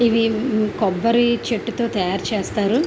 ఇవి ఇది కొబ్బరి చెట్టుతో తాయారు చేస్తారు.